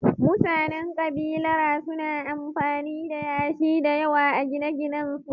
Mutanen kabilara suna amfani da yashi da yawa a gine-ginensu